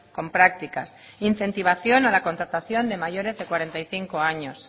con prácticas incentivación a la contratación de mayores de cuarenta y cinco años